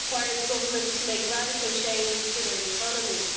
It requires governments to make radical changes to their economies.